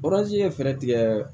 ye fɛɛrɛ tigɛɛ